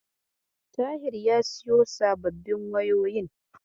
Tahir ya siyo sababbin wayoyin.